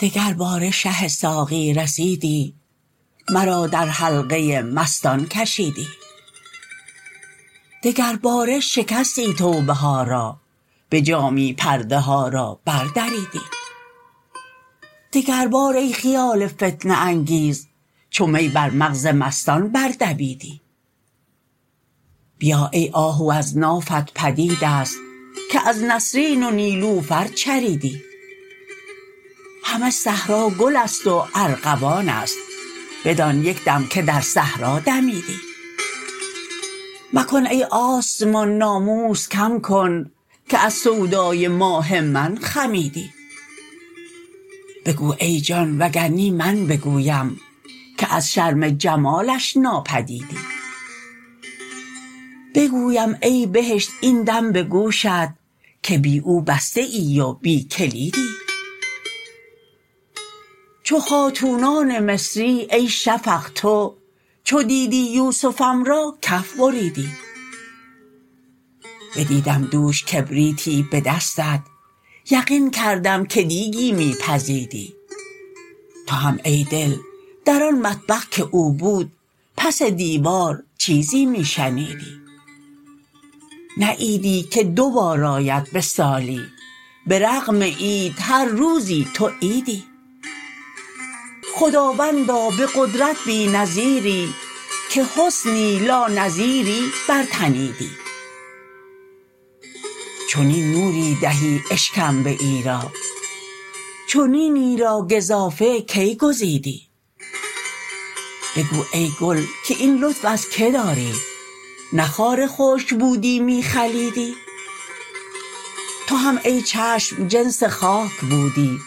دگرباره شه ساقی رسیدی مرا در حلقه مستان کشیدی دگرباره شکستی توبه ها را به جامی پرده ها را بردریدی دگربار ای خیال فتنه انگیز چو می بر مغز مستان بردویدی بیا ای آهو از نافت پدید است که از نسرین و نیلوفر چریدی همه صحرا گل است و ارغوان است بدان یک دم که در صحرا دمیدی مکن ای آسمان ناموس کم کن که از سودای ماه من خمیدی بگو ای جان وگر نی من بگویم که از شرم جمالش ناپدیدی بگویم ای بهشت این دم به گوشت که بی او بسته ای و بی کلیدی چو خاتونان مصری ای شفق تو چو دیدی یوسفم را کف بریدی بدیدم دوش کبریتی به دستت یقین کردم که دیکی می پزیدی تو هم ای دل در آن مطبخ که او بود پس دیوار چیزی می شنیدی نه عیدی که دو بار آید به سالی به رغم عید هر روزی تو عیدی خداوندا به قدرت بی نظیری که حسنی لانظیری برتنیدی چنین نوری دهی اشکمبه ای را چنینی را گزافه کی گزیدی بگو ای گل که این لطف از کی داری نه خار خشک بودی می خلیدی تو هم ای چشم جنس خاک بودی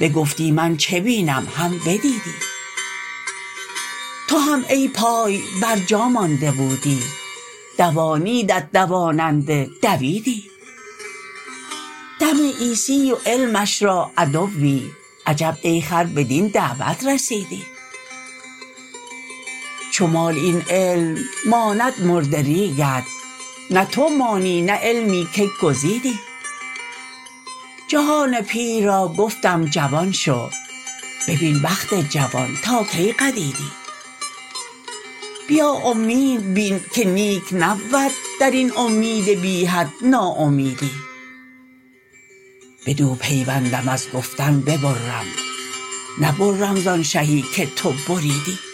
بگفتی من چه بینم هم بدیدی تو هم ای پای برجا مانده بودی دوانیدت دواننده دویدی دم عیسی و علمش را عدوی عجب ای خر بدین دعوت رسیدی چو مال این علم ماند مرد ریگت نه تو مانی نه علمی که گزیدی جهان پیر را گفتم جوان شو ببین بخت جوان تا کی قدیدی بیا امید بین که نیک نبود در این امید بی حد ناامیدی بدو پیوندم از گفتن ببرم نبرم زان شهی که تو بریدی